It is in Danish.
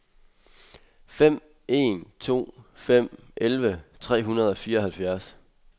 fem en to fem elleve tre hundrede og fireoghalvfjerds